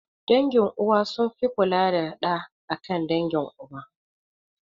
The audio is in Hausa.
Dangin uwa sun fi kula da ɗa akan dangin uba